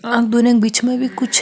आ दोनों बिच में भी कुछ --